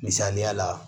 Misaliya la